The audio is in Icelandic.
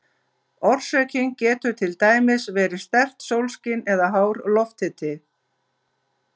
Orsökin getur til dæmis verið sterkt sólskin eða hár lofthiti.